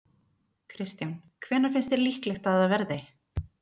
Kristján: Hvenær finnst þér líklegt að það verði?